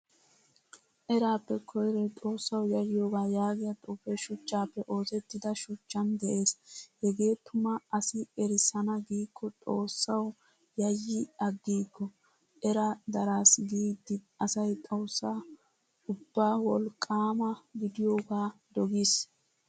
Erappe koyroy xoossawu yaayiyoga yaagiyaa xuufe shuchchappe oosettida shuchchan de'ees. Hegee tuma asi ersana giiko xoossawu yayi agiigo. Era darsi giidi asay xoossaa ubba wolqqama gidiyoga dogiis.